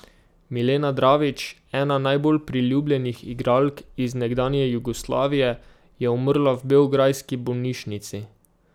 Milena Dravić, ena najbolj priljubljenih igralk iz nekdanje Jugoslavije je umrla v beograjski bolnišnici.